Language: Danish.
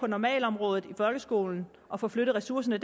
normalområdet i folkeskolen og får flyttet ressourcerne